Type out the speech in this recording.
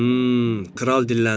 Hım, kral dilləndi.